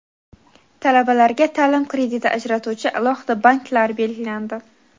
Talabalarga ta’lim krediti ajratuvchi alohida banklar belgilandi.